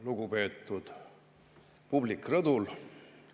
Lugupeetud publik rõdul!